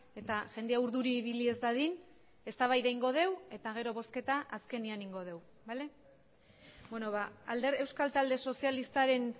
eta jendea urduri ibili ez dadin eztabaida egingo dugu eta gero bozketa azkenean egingo dugu euskal talde sozialistaren